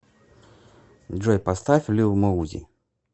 джой поставь лил моузи